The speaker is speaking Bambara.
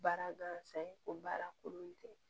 Baara gansan o baara kolon tɛ